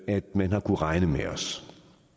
at man har kunnet regne med os